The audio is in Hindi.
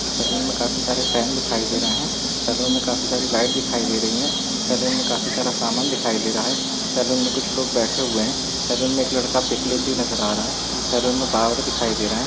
सैलून में काफी सारे फैन दिखाई दे रहे हैं सैलून में काफी सारी लाइट दिखाई दे रही है सैलून में काफी सारा सामान दिखाई दे रहा है सैलून में कुछ लोग बैठे हुए हैं सैलून में एक लड़का पिक लेते हुए नज़र आ रहा है सैलून में बाबर दिखाई दे रहा है।